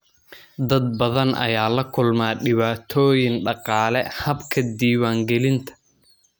Dad badan ayaa la kulma dhibaatooyin dhaqaale habka diiwaangelinta.